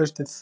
haustið.